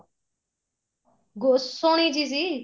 go ਸੋਹਣੀ ਜੀ ਸੀ